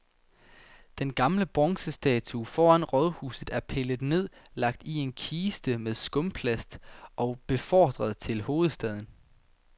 Den gamle bronzestatue foran rådhuset er pillet ned, lagt i en kiste med skumplast og befordret til hovedstaden.